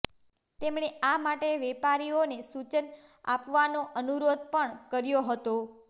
તેમણે આ માટે વેપારીઓને સૂચન આપવાનો અનુરોધ પણ કર્યો હતો